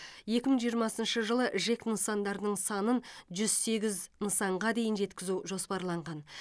екі мың жиырмасыншы жылы жэк нысандарының санын жүз сегіз нысанға дейін жеткізу жоспарланған